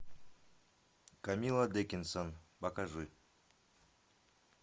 камилла дикинсон покажи